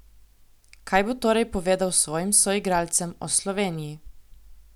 Kaj bo torej povedal svojim soigralcem o Sloveniji?